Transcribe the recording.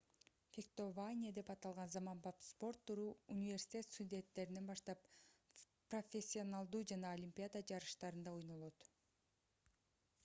фехтование деп аталган заманбап спорт түрү университет студенттеринен баштап профессионалдуу жана олимпиада жарыштарында ойнолот